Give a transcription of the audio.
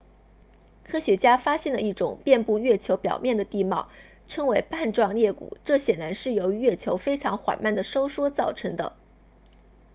科学家发现了一种遍布月球表面的地貌称为瓣状裂谷这显然是由于月球非常缓慢地收缩造成的